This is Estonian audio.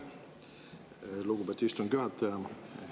Aitäh, lugupeetud istungi juhataja!